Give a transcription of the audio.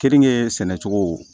Keninke sɛnɛcogo